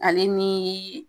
Ale ni